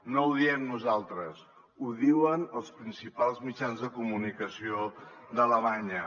no ho diem nosaltres ho diuen els principals mitjans de comunicació d’alemanya